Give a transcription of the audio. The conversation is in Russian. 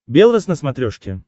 белрос на смотрешке